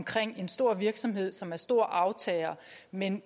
for en stor virksomhed som er storaftager men